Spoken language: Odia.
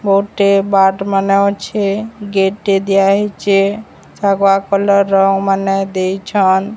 ଗୋଟେ ବାଟ୍ ମାନେ ଅଛେ ଗେଟ୍ ଟେ ଦିଆ ହେଇଚେ ଶାଗୁଆ କଲର୍ ର ମାନେ ଦେଇଛନ୍।